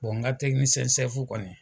Bɔn n ka tɛkinisiyɛn sɛfu kɔni